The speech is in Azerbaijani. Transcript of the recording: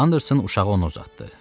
Anderson uşağı ona uzatdı.